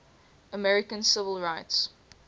american civil rights